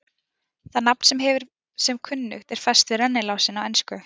Það nafn hefur sem kunnugt er fest við rennilásinn á ensku.